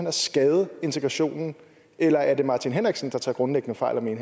at skade integrationen eller er det herre martin henriksen der tager grundlæggende fejl